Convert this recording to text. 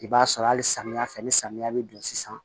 I b'a sɔrɔ hali samiyɛ fɛ ni samiya bɛ don sisan